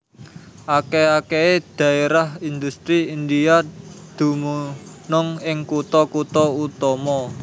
Akèh akèhé dhaérah indhustri India dumunung ing kutha kutha utama